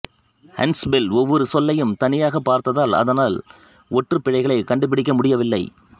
Hunspell ஒவ்வொரு சொல்லையும் தனியாகப் பார்த்ததால் அதனால் ஒற்றுப் பிழைகளைக் கண்டுபிடிக்க முடியவில்லை